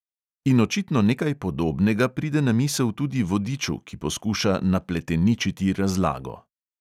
In očitno nekaj podobnega pride na misel tudi vodiču, ki poskuša napleteničiti razlago.